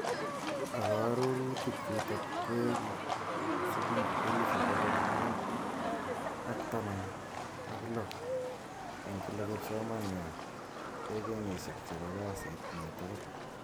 Ako arorutik chutok koeku siling elfu pokol mut aktaman ak lo eng kila kipsomaniat ek kinyeshik che bo kasit nyi tugul.